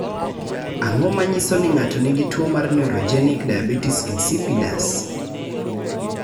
Ang�o ma nyiso ni ng�ato nigi tuo mar Neurogenic diabetes insipidus?